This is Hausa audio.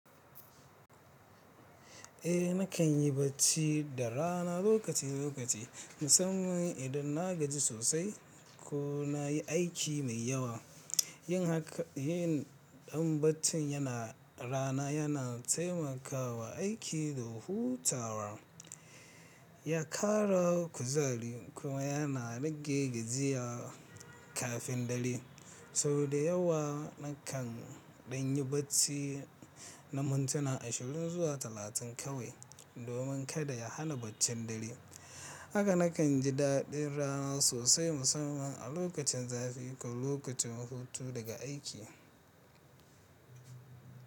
Eh nakan yi bacci da rana lokaci lokaci. Musamman idan na gaji sosai ko na yi aiki mai yawa. Yin hakan, yin ɗan baccin yana rana yana taimakawa aiki da hutawa. Ya kara kuzari kuma yana rage gajiya kafin dare. Sau da yawa na kan ɗan yi bacci na mintuna ashirin zuwa talatin kawai domin kada ya hana baccin dare. Haka nakan ji daɗin rana sosai musamman a lokacin zafi ko lokacin hutu daga aiki.